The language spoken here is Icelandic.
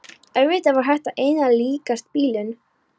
Auðvitað var þetta einna líkast bilun.